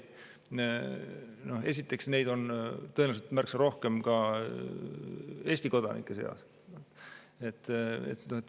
Aga esiteks, neid on tõenäoliselt üsna palju ka Eesti kodanike seas.